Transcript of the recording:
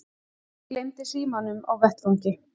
Gleymdi símanum á vettvangi